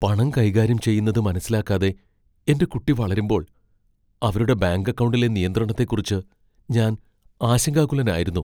പണം കൈകാര്യം ചെയ്യുന്നത് മനസ്സിലാക്കാതെ എന്റെ കുട്ടി വളരുമ്പോൾ അവരുടെ ബാങ്ക് അക്കൗണ്ടിലെ നിയന്ത്രണത്തെക്കുറിച്ച് ഞാൻ ആശങ്കാകുലനായിരുന്നു.